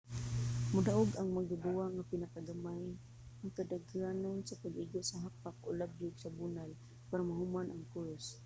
modaog ang magduduwa nga pinakagamay ang kadaghanon sa pag-igo sa hapak o labyog sa bunal para mahuman ang course